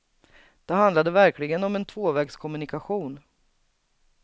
Det handlade verkligen om en tvåvägskommunikation.